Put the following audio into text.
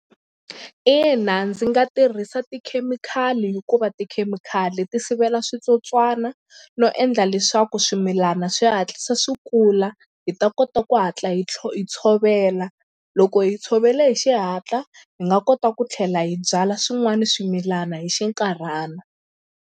Ina ndzi nga tirhisa tikhemikhali hikuva tikhemikhali ti sivela switsotswana no endla leswaku swimilana swi hatlisa swi kula hi ta kota ku hatla hi tlhela hi tshovela loko hi tshovela hi xihatla hi nga kota ku tlhela hi byala swin'wana swimilana hi xinkarhana.